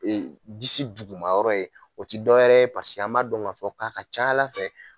si duguma yɔrɔ ye o ti dɔwɛrɛ ye paseke an ma dɔn k'a fɔ k'a ka ca ala fɛ